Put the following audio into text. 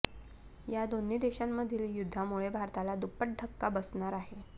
या दोन्ही देशांमधील युद्धामुळे भारताला दुप्पट धक्का बसणार आहे